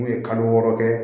N'u ye kalo wɔɔrɔ kɛ